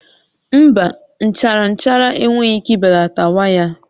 Mba, nchara nchara enweghị ike ibelata waya a